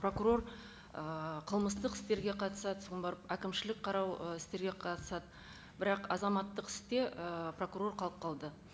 прокурор ыыы қылмыстық істерге қатысады соған барып әкімшілік қарау ы істерге қатысады бірақ азаматтық істе і прокурор қалып қалды